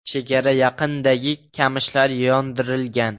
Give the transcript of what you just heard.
Chegara yaqinidagi qamishlar yondirilgan.